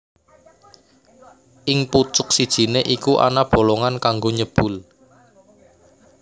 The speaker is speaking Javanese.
Ing pucuk sijiné iku ana bolongan kanggo nyebul